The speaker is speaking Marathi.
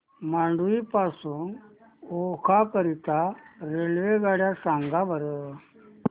मांडवी पासून ओखा करीता रेल्वेगाड्या सांगा बरं